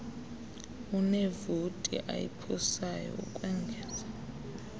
unevoti ayiphosayo ukwengeza